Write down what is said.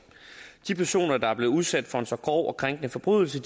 de personer der er blevet udsat for en så grov og krænkende forbrydelse